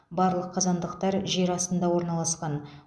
барлық қазандықтар жер астында орналасқан